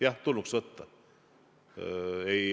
Jah, tulnuks võtta.